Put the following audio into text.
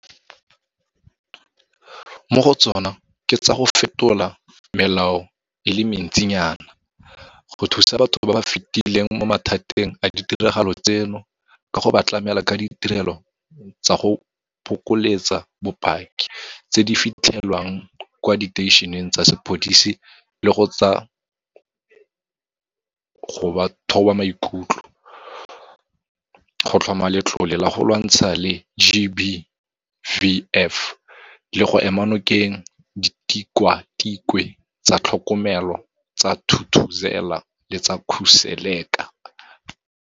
Mo go tsona ke tsa go fetola melao e le mentsinyana, go thusa batho ba ba fetileng mo mathateng a ditiragalo tseno ka go ba tlamela ka ditirelo tsa go bokeletsa bopaki tse di fitlhelwang kwa diteišeneng tsa sepodisi le tsa go ba thoba maikutlo, go tlhoma letlole la go lwantshana le GBVF le go ema nokeng Ditikwatikwe tsa Tlhokomelo tsa Thuthuzela le tsa Khuseleka.